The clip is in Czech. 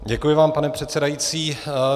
Děkuji vám, pane předsedající.